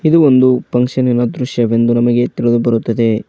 ಇದು ಒಂದು ಫಂಕ್ಷನಿ ನಎಲ್ಲಾ ದೃಶ್ಯವೆಂದು ನಮಗೆ ತಿಳಿದು ಬರುತ್ತದೆ.